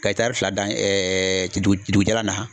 Ka fila dan dugu dugu jalan na.